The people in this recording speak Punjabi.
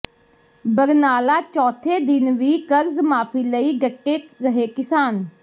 ਬਰਨਾਲਾ ਚੌਥੇ ਦਿਨ ਵੀ ਕਰਜ਼ ਮਾਫੀ ਲਈ ਡਟੇ ਰਹੇ ਕਿਸਾਨ